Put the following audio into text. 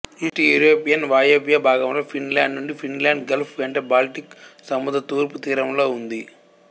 east European వాయవ్య భాగంలో Finland నుండి ఫిన్లాండ్ గల్ఫ్ వెంట బాల్టిక్ సముద్రం తూర్పు తీరంలో ఉంది